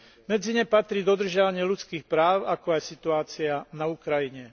Medzi ne patrí dodržiavanie ľudských práv, ako aj situácia na Ukrajine.